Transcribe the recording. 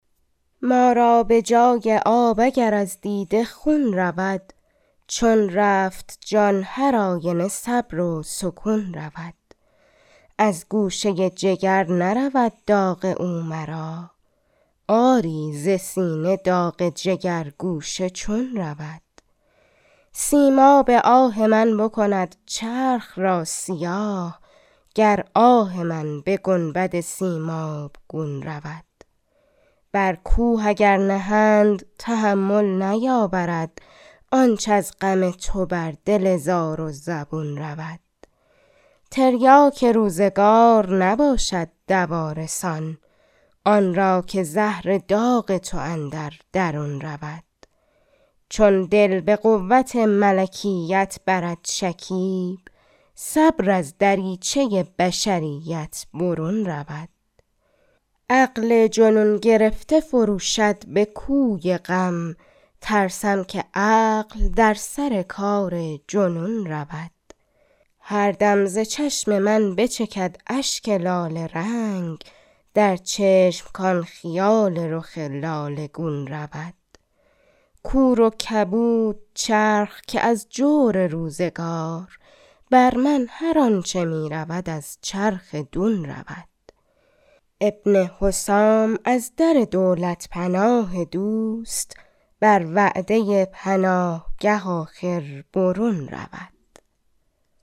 ما را به جای آب اگر از دیده خون رود چون رفت جان هرآینه صبر و سکون رود از گوشه ی جگر نرود داغ او مرا آری ز سینه داغ جگرگوشه چون رود سیماب آه من بکند چرخ را سیاه گر آه من به گنبد سیمابگون رود برکوه اگر نهند تحمل نیاورد آنچ از غم تو بر دل زار و زبون رود تریاک روزگار نباشد دوا رسان انرا که زهر داغ تو اندر درون رود چون دل به قوت ملکیت برد شکیب صبر از دریچه ی بشریت برون رود عقل جنون گرفته فروشد به کوی غم ترسم که عقل درسرکارجنون رود هردم زچشم من بچکد اشک لاله رنگ درچشم کان خیال رخ لاله گون رود کوروکبود چرخ که از جور روزگار برمن هر آنچه می رود از چرخ دون رود ابن حسام از در دولت پناه دوست بر وعده ی پناهگه آخر برون رود